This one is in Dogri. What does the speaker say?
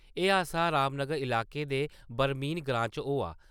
एह् हादसा रामनगर इलाके दे बरमीन ग्रांऽ च होआ।